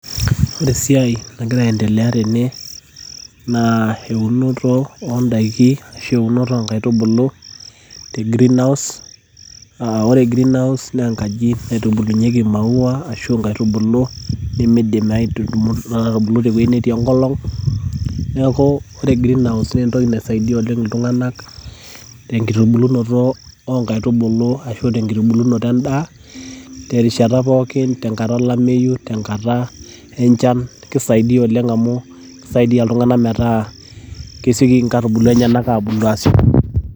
ore esiai nagira aendelea tene, naa eunoto oodaiki, ashu eunoto oonkaitubulu te greenhouse, ore greenhouse naa enkaji o maaua ashu nkaitubulu nemeidim aatubulu tewueji netii enkolong; neeku, ore greenhouse naa entoki naisaidia iltungana tenkitubulunoto edaa, terishata pookin, tenkata olameyu, tenkata enchan, kisaidia iltunganak metaa kesioki inkaitubulu abulu.